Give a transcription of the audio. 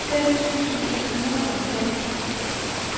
fem tusind et hundrede og fem